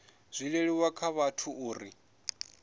zwi leluwe kha vhathu uri